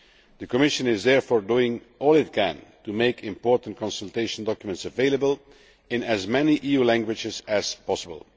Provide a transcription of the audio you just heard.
The Commission is therefore doing all it can to make important consultation documents available in as many EU languages as possible.